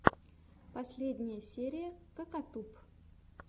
последняя серия кокатуб